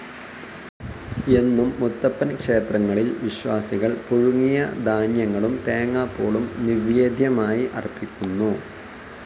എന്നും മുത്തപ്പൻ ക്ഷേത്രങ്ങളിൽ വിശ്വാസികൾ പുഴുങ്ങിയ ധാന്യങ്ങളും തേങ്ങാപ്പൂളും ന്യിവേദ്യമായി അർപിക്കുന്നു.